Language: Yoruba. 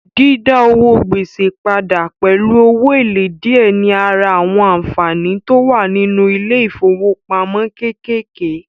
Dídá owó gbèsè padà pẹ̀lú owó èlé díẹ̀ ní ara àwọn ànfàní tó wà nínú ilé ìfowópamọ́ kékèké